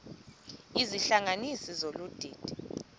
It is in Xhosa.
izihlanganisi zolu didi